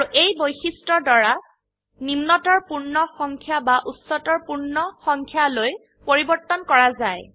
আৰু এই বৈশিষ্ট্যৰ দ্বাৰা নিম্নতৰ পূৰ্ণ সংখ্যা বা উচ্চতৰ পূৰ্ণ সংখ্যালওৈ পৰিবৰ্তন কৰা যায়